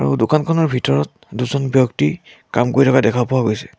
সৌ দোকানখনৰ ভিতৰত দুজন ব্যক্তি কাম কৰি থকা দেখা পোৱা গৈছে।